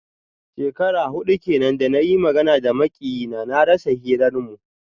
Shekaru hudu kenan da na yi magana da makiyina, na rasa hirarmu.